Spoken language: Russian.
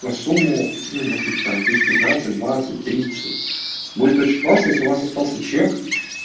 на сумму ну может быть там тысяч пятнадцать двадцать тридцать будет очень классно если у вас остался чек